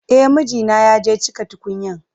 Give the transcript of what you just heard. E, mijina ya je cika tukunyan.